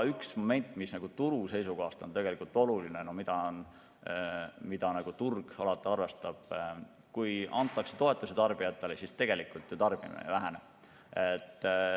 Üks moment, mis turu seisukohast on oluline ja mida turg alati arvestab, on, et kui tarbijatele antakse toetusi, siis tegelikult tarbimine ei vähene.